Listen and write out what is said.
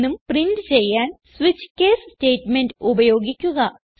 എന്നും പ്രിന്റ് ചെയ്യാൻ switch case statement ഉപയോഗിക്കുക